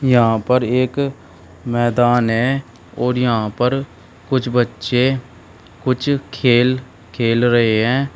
यहां पर एक मैदान है और यहां पर कुछ बच्चे कुछ खेल खेल रहे है।